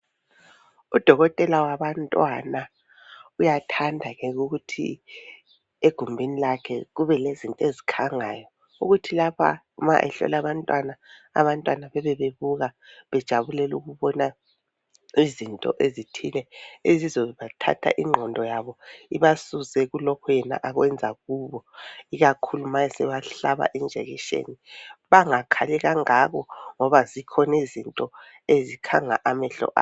Udokotela wabantwana uyathanda ke ukuthi egumbini lakhe kube lezinto ezikhangayo ukuthi lapha uma ehlola abantwana, abantwana bebe bebuka bejabulela ukubona izinto ezithile ezizobathatha inqondo yabo ibasuse kulokhu yena akwenza kubo ikakhulu ma esebahlaba ijekiseni bangakhali kangaka ngoba zikhona izinto ezikhanga amehlo abo.